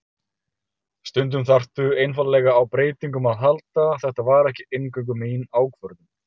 Stundum þarftu einfaldlega á breytingum að halda, þetta var ekki eingöngu mín ákvörðun.